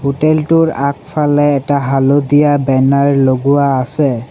হোটেলটোৰ আগফালে এটা হালধীয়া বেনাৰ লগোৱা আছে।